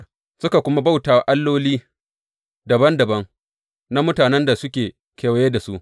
Suka bi suka kuma bauta alloli dabam dabam na mutanen da suke kewaye da su.